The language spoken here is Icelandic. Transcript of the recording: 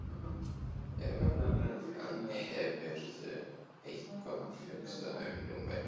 Eva Bergþóra: En hefurðu eitthvað hugsað um námið?